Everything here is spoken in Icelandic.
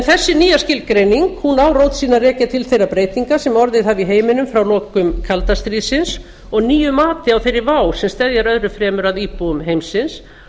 þessi nýja skilgreining á rót sína að rekja til þeirra breytinga sem orðið hafa í heiminum frá lokum kalda stríðsins og nýju mati á þeirri vá sem steðjar öðru fremur að íbúum heimsins